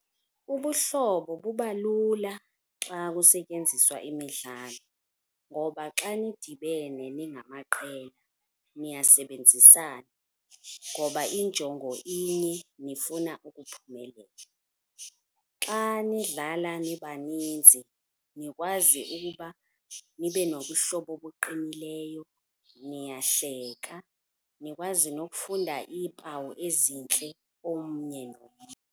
Ubuhlobo buba lula xa kusetyenziswa imidlalo ngoba xa nidibene ningamaqela niyasebenzisana ngoba injongo inye nifuna ukuphumelela. Xa nidlala nibaninzi nikwazi ukuba nibe nobuhlobo obuqinileyo, niyahleka nikwazi nokufunda iimpawu ezintle omnye nomnye.